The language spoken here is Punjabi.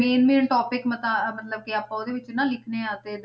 Main main topic ਮਤਾ ਮਤਲਬ ਕਿ ਆਪਾਂ ਉਹਦੇ ਵਿੱਚ ਨਾ ਲਿਖਣੇ ਆ ਤੇ